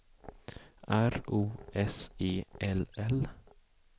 R O S E L L